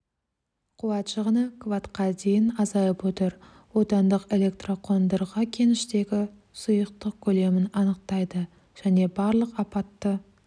қуат шығыны кваттқа дейін азайып отыр отандық электроқондырғы кеніштегі сұйықтық көлемін анықтайды және барлық апатты